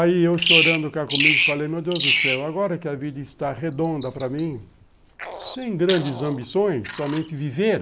Aí eu chorando cá comigo, falei, meu Deus do céu, agora que a vida está redonda para mim, sem grandes ambições, somente viver,